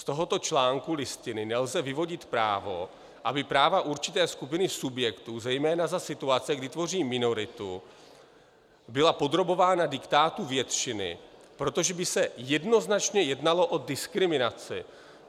Z tohoto článku Listiny nelze vyvodit právo, aby práva určité skupiny subjektů, zejména za situace, kdy tvoří minoritu, byla podrobována diktátu většiny, protože by se jednoznačně jednalo o diskriminaci.